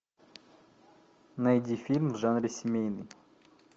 найди фильм в жанре семейный